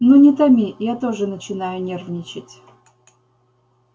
ну не томи я тоже начинаю нервничать